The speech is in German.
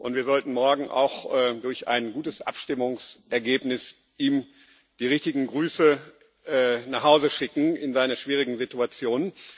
Wir sollten ihm morgen durch ein gutes Abstimmungsergebnis die richtigen Grüße nach Hause schicken, in seiner schwierigen Situation.